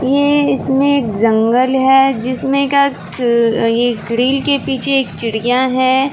ये इसमें एक जंगल है जिसमें का ये ग्रिल के पीछे एक चिड़िया है।